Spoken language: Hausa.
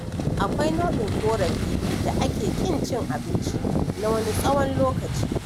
Akwai nau'in ƙorafin da ake ƙin cin abinci na wani tsawon lokaci.